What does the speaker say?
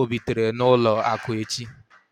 ọ bitere n'ụlọ akụ echi.